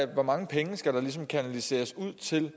hvor mange penge skal der ligesom kanaliseres ud til